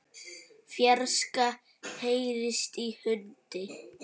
fjarska heyrist í hundi.